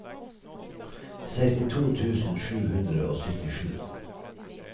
sekstito tusen sju hundre og syttisju